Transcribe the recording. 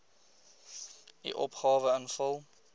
u opgawe invul